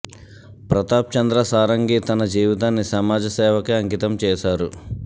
ప్రతాప్ చంద్ర సారంగి తన జీవితాన్ని సమాజ సేవకే అంకితం చేశారు